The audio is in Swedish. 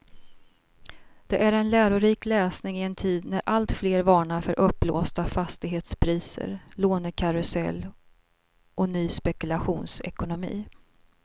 Det är en lärorik läsning i en tid när alltfler varnar för uppblåsta fastighetspriser, lånekarusell och ny spekulationsekonomi.